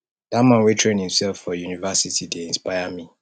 dat man wey train imsef for university dey inspire me